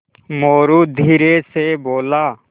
मोरू धीरे से बोला